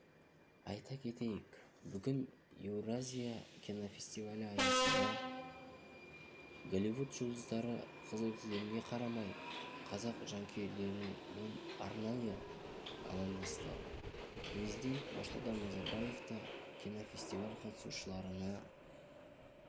айта кетейік бүгін еуразия кинофестивалі аясында голливуд жұлдыздары қызыл кілемге қарамай қазақ жанкүйерлерімен арнайы амандасты президент нұрсұлтан назарбаев та кинофестиваль қатысушыларына